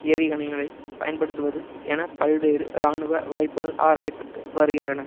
ஏவிகணைகளை பயன்படுத்துவது என பல்வேறு இராணுவ வாய்ப்புகள் ஆராய பட்டு வருகின்றன